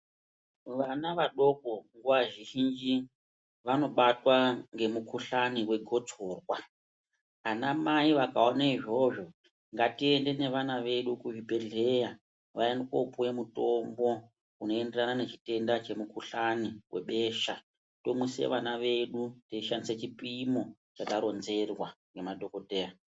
Vana vadoko nguwa zhinji ,vanobatwa ngemukhuhlani wegotsorwa. Anamai vakaone izvozvo ,ngatiende nevana vedu kuzvibhedhleya, vaende kopuwe mutombo unoenderana nechitenda chemukhuhlani webesha, tomwise vana vedu teishandise chipimo chataronzerwa ngemadhokodheya.